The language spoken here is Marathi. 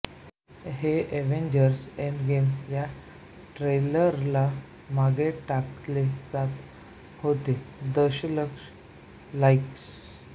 हे अव्हेन्जर्स एंडगेम या ट्रेलरला मागे टाकले ज्यात होते दशलक्ष लाईक्स